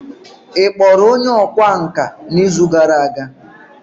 ị kpọrọ onye ọkwá nkà n'izu gara aga?